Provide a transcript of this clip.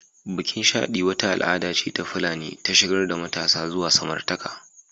Bikin Shaɗi wata al'ada ce ta Fulani ta shigar da matasa zuwa samartaka